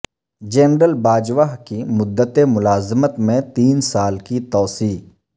general Bajwa کی مدت ملازمت میں تین سال کی توسیع